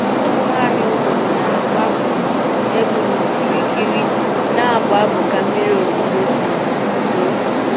Ụmụnwaanyị obodo na-agba um egwu n'okirikiri, na-abụ abụ ka mmiri ozuzo um zoo